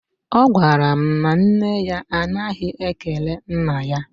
Ọ gwara m na nne ya anaghị ekele nna ya.